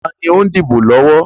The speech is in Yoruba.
Taàní ó ń dìbò lọ́wọ́?